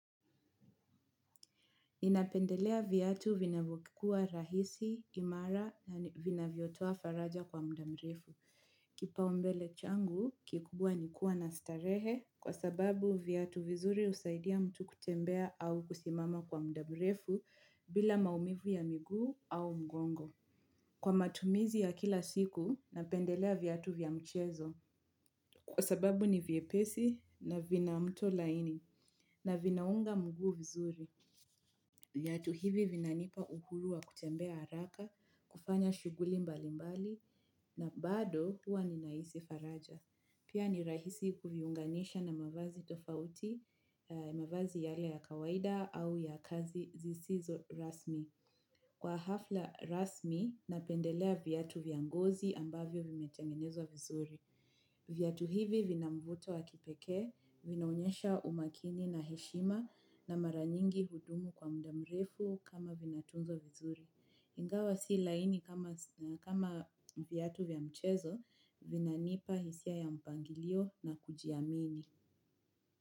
Ninapendelea viatu vinavyokua rahisi, imara na vinavyotoa faraja kwa mda mrefu. Kipaumbele changu, kikubwa nikua na starehe kwa sababu viatu vizuri husaidia mtu kutembea au kusimama kwa mda mrefu bila maumivu ya miguu au mgongo. Kwa matumizi ya kila siku, napendelea viatu vya mchezo. Kwa sababu ni vyepesi na vina mto laini na vinaunga mguu vizuri. Viatu hivi vinanipa uhuru wa kutembea haraka, kufanya shuguli mbali mbali na bado huwa ninahisi faraja. Pia ni rahisi kuviunganisha na mavazi tofauti, mavazi yale ya kawaida au ya kazi zisizo rasmi. Kwa hafla rasmi, napendelea viatu vya ngozi ambavyo vimetengenezwa vizuri. Viatu hivi vina mvuto wa kipeke, vinaonyesha umakini na heshima na mara nyingi hudumu kwa mda mrefu kama vina tunzwa vizuri. Ingawa si laini kama viatu vya mchezo, vina nipa hisia ya mpangilio na kujiamini.